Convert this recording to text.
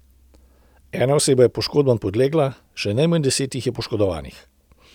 Ena oseba je poškodbam podlegla, še najmanj deset jih je poškodovanih.